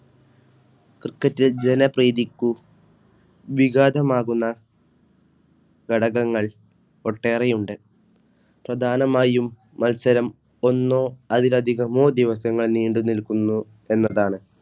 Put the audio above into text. Criket ലെ ജനപ്രീതിക്കു വികാധമാകുന്ന ഘടകങ്ങൾ ഒട്ടേറെയുണ്ട് പ്രധാനമായും മത്സരം ഒന്നോ അതിലധികമോ ദിവസങ്ങൾ നീണ്ടുനിൽക്കുന്നു എന്നതാണ്